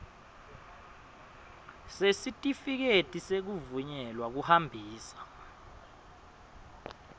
sesitifiketi sekuvunyelwa kuhambisa